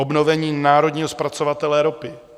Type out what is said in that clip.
Obnovení národního zpracovatele ropy.